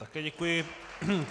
Také děkuji.